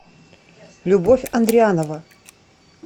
любовь андрианова